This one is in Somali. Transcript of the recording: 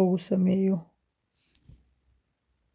uu sax yahay, muddadiisu dhammaatay, la joojiyay, ama been abuur yahay. Intaa waxaa dheer, waxaa muhiim ah inaad hubiso in bogga aad isticmaalayso uu yahay mid ammaan ah..